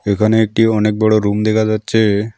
এখানে একটি অনেক বড় রুম দেখা যাচ্ছে।